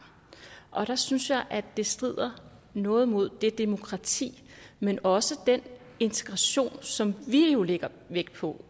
der synes jeg at det strider noget mod det demokrati men også den integration som vi jo lægger vægt på